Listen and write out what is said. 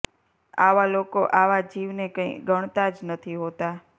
આવા લોકો આવા જીવ ને કઈ ગણતા જ નથી હોતા